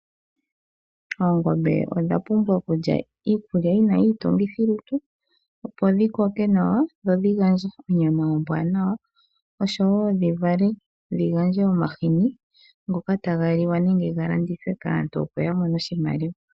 Oongombe odha pumbwa okulya iikulya yi na iitungithilutu opo dhi koke nawa dho dhi gandje onyama ombwanawa oshowo dhi vale dhi gandje omahini ngoka taga liwa nenge ga landithwe kaantu opo ya mone oshimaliwa.